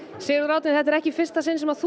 sig vel þetta er ekki í fyrsta sinn sem þú